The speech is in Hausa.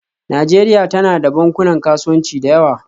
Najeriya tana da bankunan kasuwanci da yawa